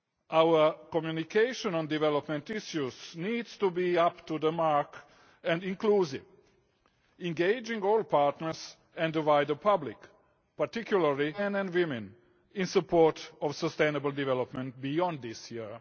Our communication on development issues needs to be up to the mark and inclusive, engaging all partners and the wider public particularly young men and women in support of sustainable development beyond this year.